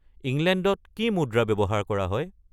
ইংলেণ্ডত কি মুদ্ৰা ব্যৱহাৰ কৰা হয়